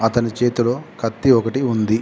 అతని చేతిలో కత్తి ఒకటి ఉంది.